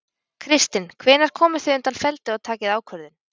Kristinn: Hvenær komið þið undan feldi og takið ákvörðun?